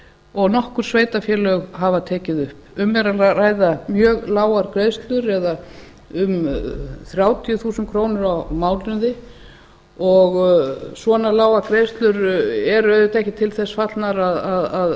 og nokkur sveitarfélög hafa tekið upp um er að ræða mjög lágar greiðslur eða um þrjátíu þúsund krónur á mánuði og svona lágar greiðslur eru auðvitað ekkert til þess fallnar að